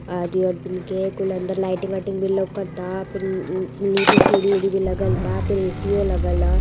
कुल अंदर लाइटिंग वाइटिंग भी लउकता फिन निचे सीढ़ी वीडी भी लगल बा फीर एसीओ लगल ह।